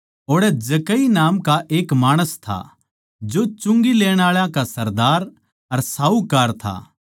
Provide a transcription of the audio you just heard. ओड़ै जक्कई नाम का एक माणस था जो चुंगी लेण आळा का सरदार अर साहूकार था